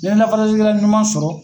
N'i ye lafasalikɛla ɲuman sɔrɔ